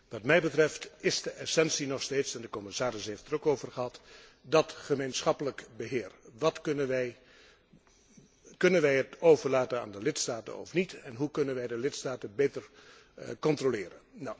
Wat mij betreft is de essentie nog steeds en de commissaris heeft het er ook over gehad het gemeenschappelijk beheer. Kunnen wij dat overlaten aan de lidstaten of niet en hoe kunnen wij de lidstaten beter controleren?